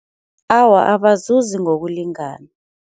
Awa abazuzi ngokulingana.